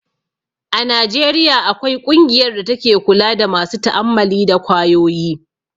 A Najeriya akwai ƙungiyar da take kula da masu ta'ammali da kwayoyi